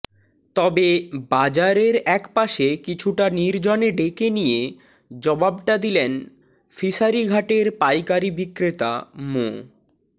তবে বাজারের একপাশে কিছুটা নির্জনে ডেকে নিয়ে জবাবটা দিলেন ফিশারি ঘাটের পাইকারি বিক্রেতা মো